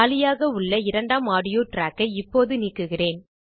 காலியாக உள்ள இரண்டாம் ஆடியோ ட்ராக் ஐ இப்போது நீக்குகிறேன்